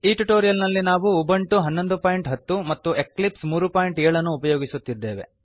ಈ ಟ್ಯುಟೋರಿಯಲ್ ನಲ್ಲಿ ನಾವು ಉಬುಂಟು 1110 ಮತ್ತು ಎಕ್ಲಿಪ್ಸ್ 37 ಅನ್ನು ಉಪಯೋಗಿಸುತ್ತಿದ್ದೇವೆ